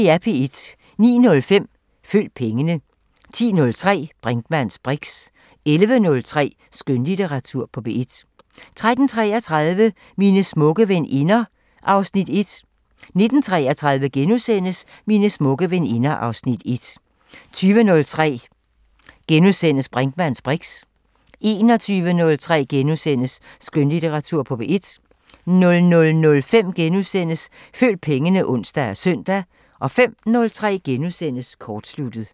09:05: Følg pengene 10:03: Brinkmanns briks 11:03: Skønlitteratur på P1 13:33: Mine smukke veninder (Afs. 1) 19:33: Mine smukke veninder (Afs. 1)* 20:03: Brinkmanns briks * 21:03: Skønlitteratur på P1 * 00:05: Følg pengene *(ons og søn) 05:03: Kortsluttet *